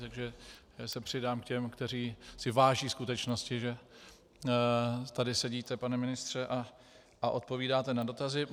Takže se přidám k těm, kteří si váží skutečnosti, že tady sedíte, pane ministře, a odpovídáte na dotazy.